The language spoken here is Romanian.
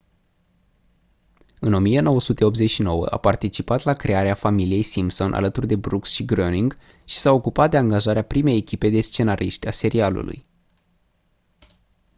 în 1989 a participat la crearea familiei simpson alături de brooks și groening și s-a ocupat de angajarea primei echipe de scenariști a serialului